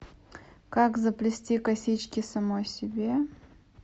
как заплести косички самой себе